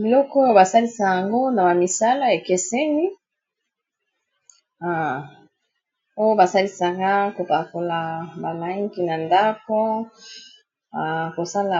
biloko oyo basalisaka yango na bamisala ekeseni oyo basalisaka kopakola ba langi na ndako kosala